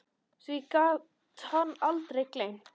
Því gat hann aldrei gleymt.